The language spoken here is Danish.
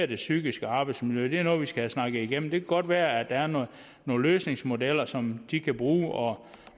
det psykiske arbejdsmiljø er noget vi skal have snakket igennem det kan godt være at der er nogle nogle løsningsmodeller som de kan bruge og